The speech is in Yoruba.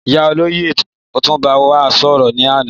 Ìyá olóyè òtún bá wa sòrò ní àná